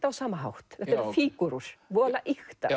á sama hátt þetta eru fígúrur voðalega ýktar